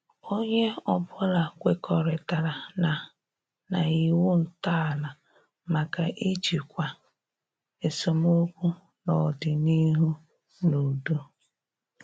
Onye ọbụla kwekọritara na na iwu ntọala maka ijikwa esemokwu n'ọdịnihu n' udo.